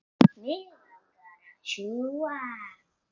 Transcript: Mig langar að sjúga.